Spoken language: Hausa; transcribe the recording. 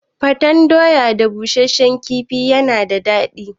Gwaten doya da bushashshen kifi yana da dadi